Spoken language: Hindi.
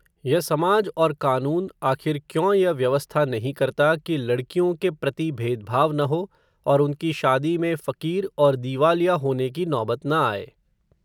यह समाज और कानून, आखिर क्यों यह व्यवस्था नहीं करता, कि लडकियों के प्रति, भेदभाव न हो, और उनकी शादी में, फ़कीर, और दीवालिया होने की नौबत न आये